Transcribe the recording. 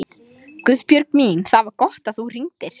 Héðinn, hvernig er dagskráin?